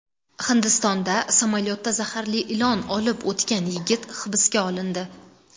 Hindistonda samolyotda zaharli ilon olib o‘tgan yigit hibsga olindi.